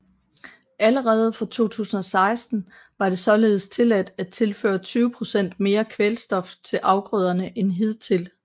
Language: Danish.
Allerede fra 2016 var det således tilladt at tilføre 20 procent mere kvælstof til afgrøderne end hidtil